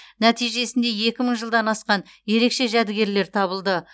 нәтижесінде екі мың жылдан асқан ерекше жәдігерлер табылды